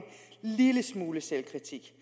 lille smule selvkritik